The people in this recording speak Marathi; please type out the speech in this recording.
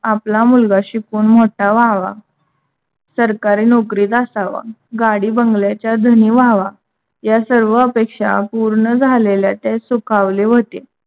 आपला मुलगा शिकून मोठा व्हावा. सरकारी नौकरीत असावा. गाडी बंगल्याचा धनी व्हावा. ह्या सर्व अपेक्षा पूर्ण झालेल्या त्या सुखावले होते.